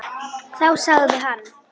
Þá sagði hann.